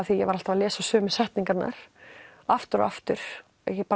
því að ég var alltaf að lesa sömu setningarnar aftur og aftur